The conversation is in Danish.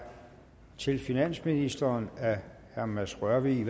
til finansministeren af herre mads rørvig